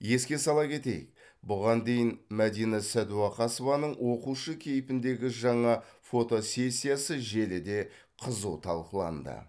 еске сала кетейік бұған дейін мәдина сәдуақасованың оқушы кейпіндегі жаңа фотосесиясы желіде қызу талқыланды